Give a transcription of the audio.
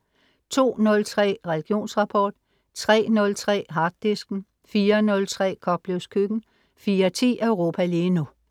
02.03 Religionsrapport* 03.03 Harddisken* 04.03 Koplevs Køkken* 04.10 Europa lige nu*